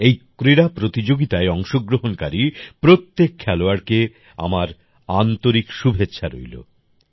এই ক্রীড়া প্রতিযোগিতায় অংশগ্রহণকারী প্রত্যেক খেলোয়াড়কে আমার আন্তরিক শুভেচ্ছা রইল